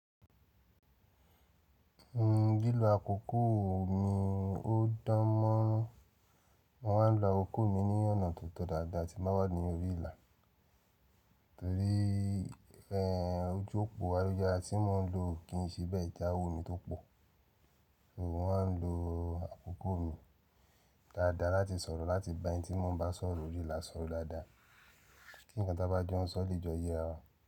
Ní gílò àkókò mi ó dán mọ́, mo máa ń lo akoko mi ní ọ̀nà tó tọ dáadáa tí mo bá wà ní orí ìlà. Torí ẹrò ojú òpó ayelujárá tí mo ń lò kì í síbẹ̀ jáwò ni tó pọ̀. Mo máa ń lo àkókò mi dáadáa láti sọ̀rọ̀ láti bá ẹni tí mo bá sọ̀rọ̀ orí ìlà sọ̀rọ̀ dáadáa. Kí nǹkan tó bá jẹ́ ó lè jọ yé ẹ.